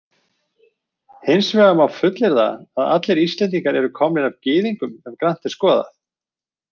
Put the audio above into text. Hins vegar má fullyrða að allir Íslendingar eru komnir af Gyðingum ef grannt er skoðað.